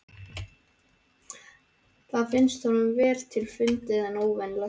Það finnst honum vel til fundið en óvenjulegt.